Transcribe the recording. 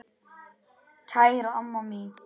Kæra amma mín.